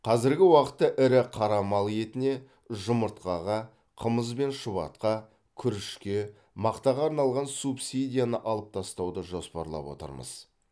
қазіргі уақытта ірі қара мал етіне жұмыртқаға қымыз бен шұбатқа күрішке мақтаға арналған субсидияны алып тастауды жоспарлап отырмыз